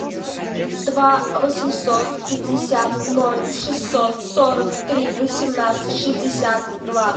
два восемьсот пятьдесят ноль шестьсот сорок три восемнадцать шестьдесят два